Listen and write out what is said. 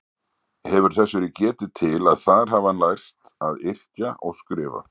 Hefur þess verið getið til að þar hafi hann lært að yrkja og skrifa.